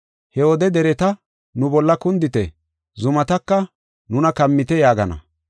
He wode dereta, ‘Nu bolla kundite’, zumataka, ‘Nuna kammite’ yaagana.